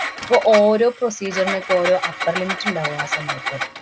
അപ്പൊ ഓരോ procedure നൊക്കെ ഓരോ upper limit ഇണ്ടാവും ആ സമയത്ത്.